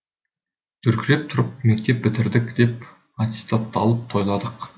дүркіретіп тұрып мектеп бітірдік деп аттестатты алып тойладық